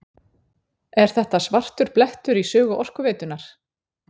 Er þetta svartur blettur í sögu Orkuveitunnar?